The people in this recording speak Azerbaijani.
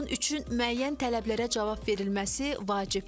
Bunun üçün müəyyən tələblərə cavab verilməsi vacibdir.